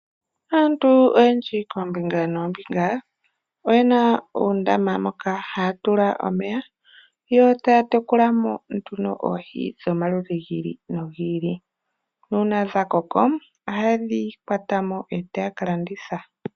Aantu oyendji koombinga noombinga oyena uundama moka haya tula omeya, yo taya tekula mo nduno oohi dhomaludhi gi ili nogi ili. Nuuna dha koko ohaye dji kwata mo e taya ka landitha.